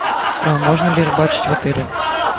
а можно ли рыбачить в отеле